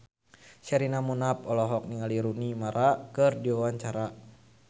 Sherina Munaf olohok ningali Rooney Mara keur diwawancara